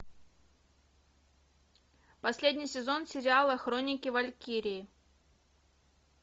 последний сезон сериала хроники валькирии